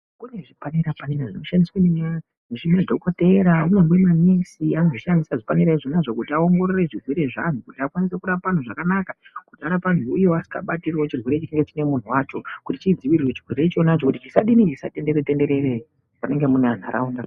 Kune zvipanera panera zvinoshandiswa nezvimadhokodhera zvimweni manesi anozvishandisa zvipanera zvonazvo kuti aongorore zvirwere zveanthu kuti akwanise kurapa anthu zvakanaka kuti arape anthu iwo asingabatirio chirwere chine chine munhu wacho kuti chidzivirirwe kuti chisatenderere tenderere fanike mumantharaunda.